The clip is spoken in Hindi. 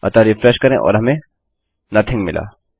अतः रिफ्रेश करें और हमें नोथिंग मिला